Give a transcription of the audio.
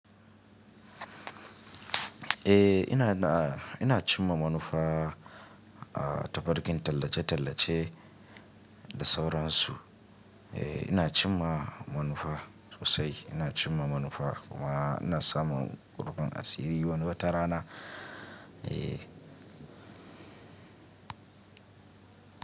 Eh ina na, ina cimma manufa, a ta farkin tallace-tallace da sauransu. Eh ina cimma manufa sosai, ina cimma manufa kuma ina samun rufin asiri wani wata rana. Eh.